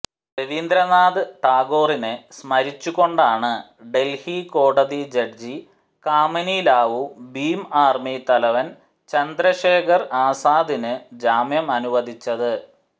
രവീന്ദ്രനാഥ് ടാഗോറിനെ സ്മരിച്ചുകൊണ്ടാണ് ഡല്ഹി കോടതി ജഡ്ജി കാമിനി ലാവു ഭീം ആര്മി തലവന് ചന്ദ്രശേഖര് ആസാദിന് ജാമ്യമനുവദിച്ചത്